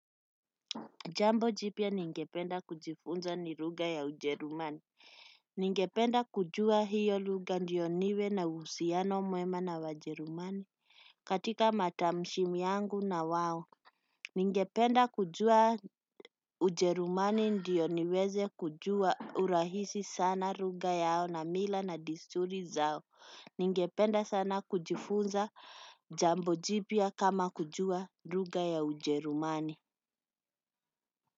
Jambo jipya ningependa kujifunza ni lugha ya ujerumani. Ningependa kujua hiyo lugha ndiyo niwe na uhusiano mwema na wajerumani katika matamshi yangu na wao. Ningependa kujua ujerumani ndiyo niweze kujua urahisi sana lugha yao na mila na disturi zao. Ningependa sana kujifunza jambo jipia kama kujua ruga ya ujerumani.